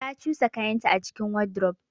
Ta cusa kayanta a cikin wardrobe.